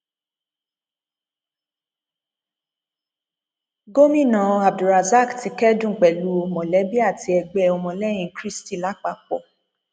gomina abdulrasaq ti kẹdùn pẹlú mọlẹbí àti ẹgbẹ ọmọlẹyìn kristi lápapọ